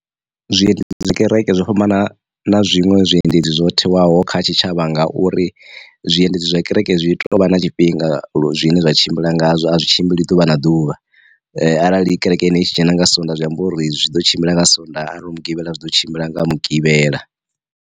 Zwiendedzi kereke zwo fhambana na zwiṅwe zwiendedzi zwo thewaho kha tshitshavha ngauri, zwiendedzi zwa kereke zwi tovha na tshifhinga zwine zwa tshimbila ngazwo a zwi tshimbili ḓuvha na ḓuvha, arali kerekeni tshi dzhena nga swondaha zwi amba uri zwi ḓo tshimbila nga swondaha arali hu mugivhela zwi ḓo tshimbila nga mugivhela.